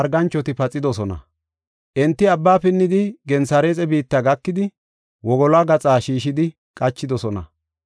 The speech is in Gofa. Enti abba pinnidi, Gensareexe biitta gakidi, wogoluwa gaxa shiishidi qachidosona.